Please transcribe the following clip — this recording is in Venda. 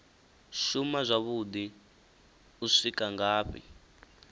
shuma zwavhuḓi u swika ngafhi